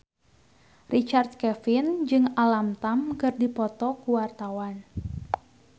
Richard Kevin jeung Alam Tam keur dipoto ku wartawan